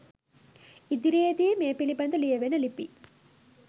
ඉදිරියේදී මේ පිළිබඳ ලියවෙන ලිපි